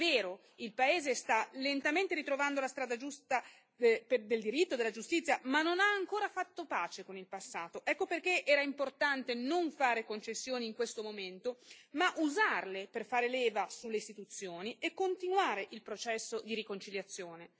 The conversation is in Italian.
È vero, il paese sta lentamente ritrovando la strada giusta del diritto e della giustizia, ma non ha ancora fatto pace con il passato, ecco perché era importante non fare concessioni in questo momento, ma usarle per far leva sulle istituzioni e continuare il processo di riconciliazione.